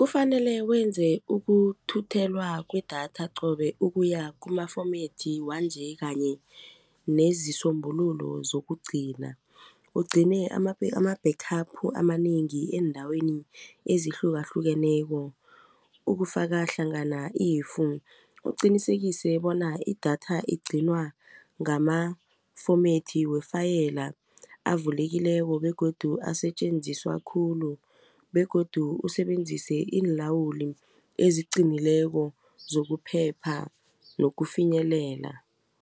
Kufanele wenze ukuthuthelwa kwedatha qobe ukuya kuma-format wanje kanye nezisombululo zokugcina. Ugcine ama-backup amanengi eendaweni ezihlukahlukeneko ukufaka hlangana i- . Uqinisekise bona idatha igcinwa ngama-format wefayela avulekileko begodu asetjenziswa khulu begodu usebenzise iinlawuli eziqinileko zokuphepha nokufinyelela.